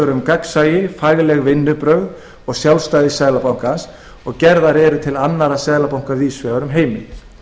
um gagnsæi fagleg vinnubrögð og sjálfstæði seðlabankans og gerðar eru til annarra seðlabanka víðs vegar um heiminn